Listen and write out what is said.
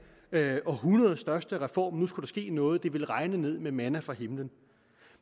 århundredets største reform nu skulle der ske noget det ville regne ned med manna fra himlen